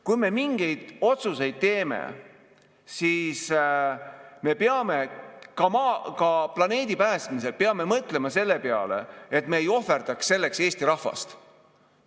Kui me mingeid otsuseid teeme, siis me peame ka planeedi päästmisel mõtlema selle peale, et me ei ohverdaks selleks Eesti rahvast.